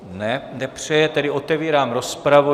Ne, nepřeje, tedy otevírám rozpravu.